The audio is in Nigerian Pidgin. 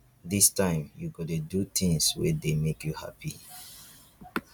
dis time you go dey do tins wey dey make you hapi.